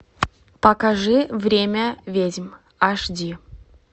покажи время ведьм аш ди